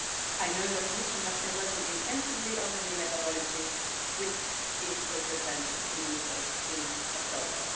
I know the Commission has been working intensively on the new methodology, which it will present to ministers in October.